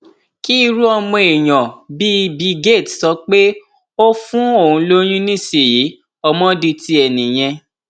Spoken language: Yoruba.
kí irú ọmọ èèyàn bíi bill gates sọ pé ó fún òun lóyún nísìnyìí ọmọ di tiẹ nìyẹn